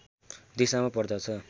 दिशामा पर्दछ